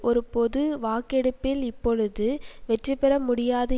ஒரு பொது வாக்கெடுப்பில் இப்பொழுது வெற்றிபெற முடியாது